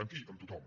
amb qui amb tothom